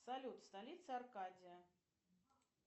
салют столица аркадия